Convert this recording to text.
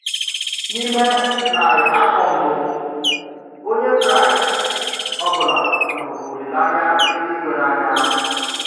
N’ime narị afọ mbụ, onye Kraịst ọ bụla hụrụ olileanya eluigwe n’anya.